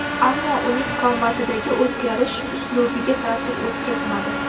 Ammo uning qomatidagi o‘zgarish uslubiga ta’sir o‘tkazmadi.